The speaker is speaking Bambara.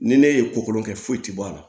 Ni ne ye kokolon kɛ foyi ti bɔ a la